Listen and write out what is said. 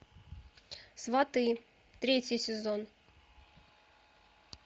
сваты третий сезон